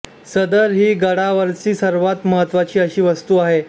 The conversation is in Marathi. सदर ही गडावरची सर्वात महत्त्वाची अशी वास्तू आहे